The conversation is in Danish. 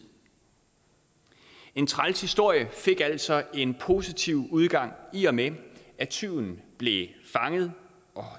en træls historie fik altså en positiv udgang i og med at tyven blev fanget og